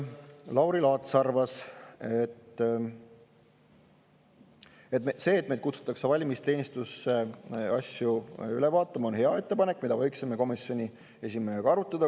Lauri Laats arvas, et see, et meid kutsutakse valimisteenistusse asju üle vaatama, on hea ettepanek, mida võiksime komisjoni esimehega arutada.